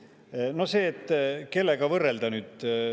see, et kellega võrrelda.